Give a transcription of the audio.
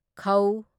ꯈ